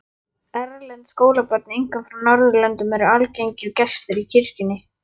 Erlend skólabörn, einkum frá Norðurlöndum, eru algengir gestir í kirkjunni.